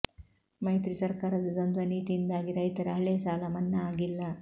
ಮೈತ್ರಿ ಸರ್ಕಾರದ ದ್ವಂದ್ವ ನೀತಿಯಿಂದಾಗಿ ರೈತರ ಹಳೇ ಸಾಲ ಮನ್ನಾ ಆಗಿಲ್ಲ